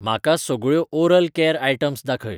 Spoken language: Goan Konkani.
म्हाका सगळ्यो ओरल कॅर आयटम्स दाखय